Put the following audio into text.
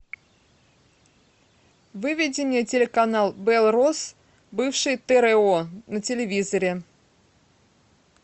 выведи мне телеканал белрос бывший тро на телевизоре